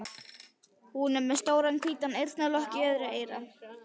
Hún er með stóran hvítan eyrnalokk í öðru eyra.